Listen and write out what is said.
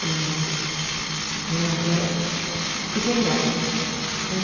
Falei, meu Deus, né agora fiquei grávida né.